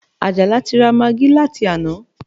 Àjàlá ti ra magí láti àná